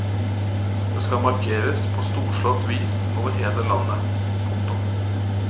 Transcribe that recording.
Det skal markeres på storslått vis over hele landet. punktum